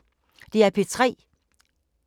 DR P3